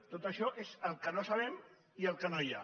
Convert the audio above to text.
tot això és el que no sabem i el que no hi ha